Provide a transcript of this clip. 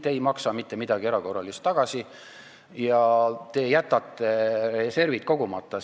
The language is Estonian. Ei, te ei maksa mitte midagi erakorraliselt tagasi ja te jätate reservid kogumata.